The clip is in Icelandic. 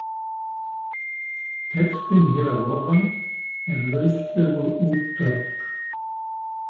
Textinn hér að ofan er lauslegur útdráttur.